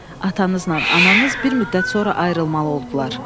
Atanızla ananız bir müddət sonra ayrılmalı oldular.